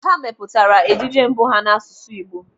Ha mepụtara ejije mbụ ha n'asụsụ Igbo.